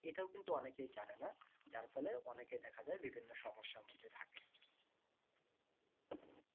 এটাও কিন্তু অনেকেই জানেনা যার ফলে অনেকে দেখা যায় বিভিন্ন সমস্যার মধ্যে